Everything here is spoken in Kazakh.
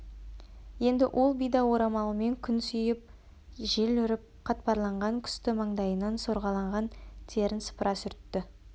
енді ол бида орамалымен күн сүйіп жел үріп қатпарланған күсті маңдайынан сорғалаған терін сыпыра сүртті